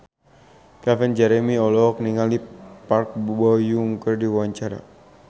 Calvin Jeremy olohok ningali Park Bo Yung keur diwawancara